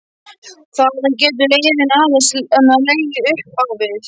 Þaðan getur leiðin aðeins legið upp á við.